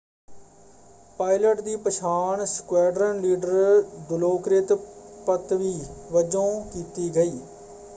Pilot ਦੀ ਪਛਾਣ squadron leader ਦਿਲੋਕ੍ਰਿਤ ਪੱਤਵੀ ਵਜੋਂ ਕੀਤੀ ਗਈ।